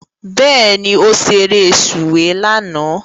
Bẹ́ẹ̀ni, ó ṣeré sùwé lánàá